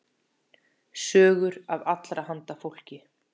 Sögur af allra handa fólki.